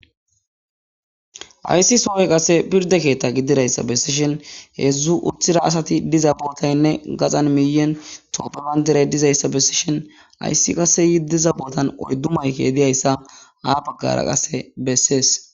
ayssi soy qase pirde keetta gididayssa bessishen heedzdzu uthira asati diza bootaynne gaxan miyen toopebandiray dizayssa bessishen ayssi qase yi diza bootan oyddu mayke diyayssa haa baggara qasse bessees